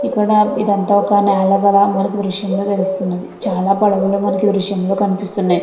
ఇక్కడ ఒక నెల లాగా మనకి దృశ్యంలో తెలుస్తుంది. చాలా పడవలు మనకి దృశ్యంలో కనిపిస్తున్నాయి.